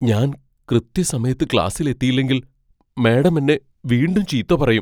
ഞാൻ കൃത്യസമയത്ത് ക്ലാസിൽ എത്തിയില്ലെങ്കിൽ മാഡം എന്നെ വീണ്ടും ചീത്ത പറയും .